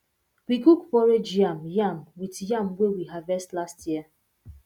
we cook porridge yam yam with yam wey we harvest last year